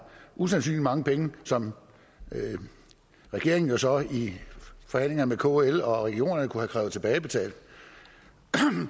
usandsynlig mange penge som regeringen så i forhandlinger med kl og regionerne kunne have krævet tilbagebetalt